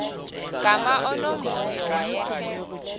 gama unomvuyo wayethe